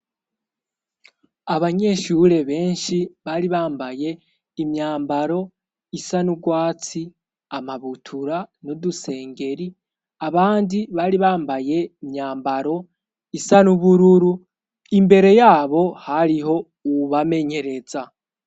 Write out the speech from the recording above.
Abanyeshure benshi bari bambaye imyambaro isa n'urwatsi, amabutura n'udusengeri; abandi bari bambaye imyambaro isa n'ubururu. Imbere yabo hariho uwubamenyereza.